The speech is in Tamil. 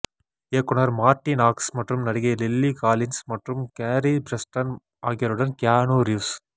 இயக்குனர் மார்ட்டி நாக்ஸ் மற்றும் நடிகை லில்லி காலின்ஸ் மற்றும் கேரி பிரஸ்டன் ஆகியோருடன் கியானு ரீவ்ஸ்